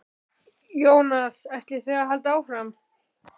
Jónas: Ætlið þið að halda áfram?